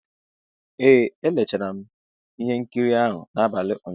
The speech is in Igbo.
Ee, leechara m ihe nkiri ahụ n'abalị ụnyaahụ.